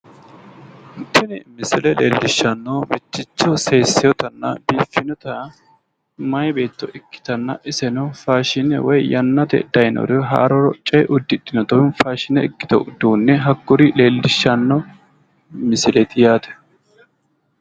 Tini misile lellishshannohu mitticho sessewootanna biiffinota meyaa beetto ikkitanna iseno faashine woyi yanna te daayiinore haaroo coye uddidhinnota faashine ikkito uduunne hakkuri leellishshanno misileeti yaate,